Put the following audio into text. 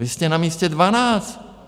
Vy jste na místě dvanáct.